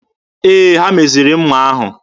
Ee, ha meziri mma ahụ.